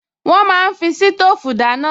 Wọ́n máa ń fi sítóòfù dáná